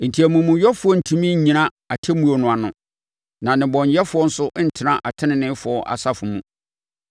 Enti amumuyɛfoɔ rentumi nnyina atemmuo no ano, na nnebɔneyɛfoɔ nso rentena teneneefoɔ asafo mu.